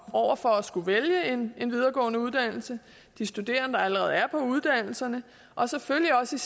over for at skulle vælge en videregående uddannelse de studerende der allerede er på uddannelserne og selvfølgelig også